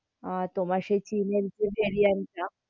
আহ তোমার সেই .